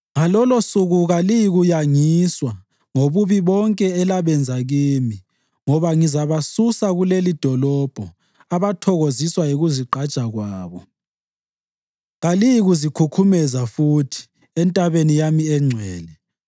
Ngalolosuku kaliyikuyangiswa ngobubi bonke elabenza kimi, ngoba ngizabasusa kulelidolobho abathokoziswa yikuzigqaja kwabo. Kaliyikuzikhukhumeza futhi entabeni yami engcwele.